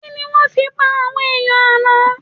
Kí ni wọ́n fi pa àwọn aáyán àná?